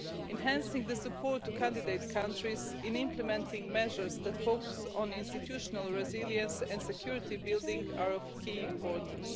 Enhancing support to candidate countries in implementing measures that focus on institutional resilience and security building are of key importance.